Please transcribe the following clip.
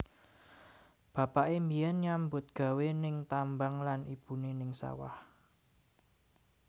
Bapaké mbiyen nyambut gawé ning tambang lan ibuné ning sawah